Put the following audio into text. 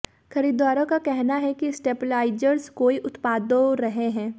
खरीदारों का कहना है कि स्टेबलाइजर्स कोई उत्पादों रहे हैं